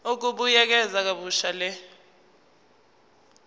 ukubuyekeza kabusha le